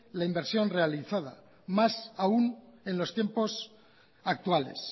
la inversión realizada más aún en los tiempos actuales